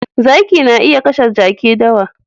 Zaki na iya kashe Jaki dawa